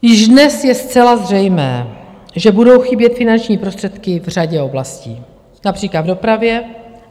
Již dnes je zcela zřejmé, že budou chybět finanční prostředky v řadě oblastí, například v dopravě.